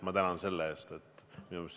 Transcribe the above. Ma tänan selle eest!